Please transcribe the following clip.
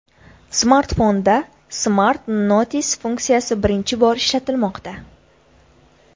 Smartfonda Smart Notice funksiyasi birinchi bor ishlatilmoqda.